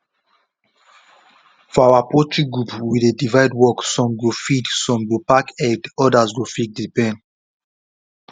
for our poultry group we dey divide work some go feed some go pack egg others go fix the pen